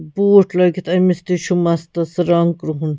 .بوٗٹھ لٲگِتھ أمِس تہِ چُھ مستس رنٛگ کرٛہُن